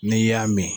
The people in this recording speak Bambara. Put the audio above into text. N'i y'a min